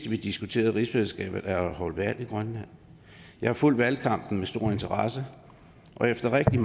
vi diskuterede rigsfællesskabets været afholdt valg i grønland jeg har fulgt valgkampen med stor interesse og efter rigtig